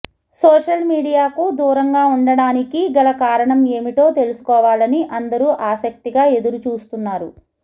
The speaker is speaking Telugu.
సోషల్ మీడియాకు దూరంగా ఉండడానికి గల కారణం ఏమిటో తెలుసుకోవాలని అందరూ ఆసక్తిగా ఎదురుచూస్తున్నారు